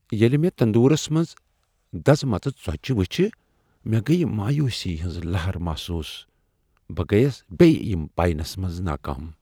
ییٚلہ مےٚ تندورس منٛز دزمژٕ ژوچہِ وٕچھ، مےٚ گٔیہ مایوسی ہٕنٛز لہر محسوس۔ بہ گٔیس بیٚیہ یم پینس منٛز ناکام۔